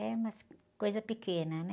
É umas coisas pequenas, né?